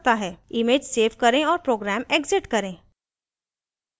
image save करें और program exit करें